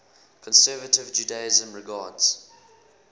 conservative judaism regards